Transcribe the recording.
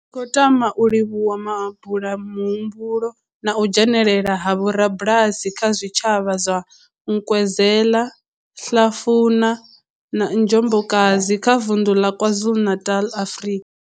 Ri khou tama u livhuwa mabulamuhumbulo na u dzhenela ha vhorabulasi vha zwitshavha zwa Nkwezela, Hlafuna na Njobokazi kha vunḓu la KwaZulu-Natal, Afrika.